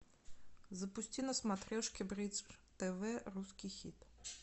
запусти на смотрешке бридж тв русский хит